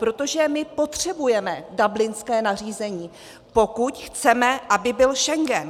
Protože my potřebujeme dublinské nařízení, pokud chceme, aby byl Schengen.